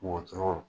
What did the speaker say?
Wotoro